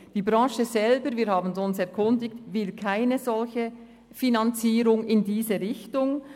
Die Branche selber – wir haben uns erkundigt – will keine Finanzierung in diese Richtung.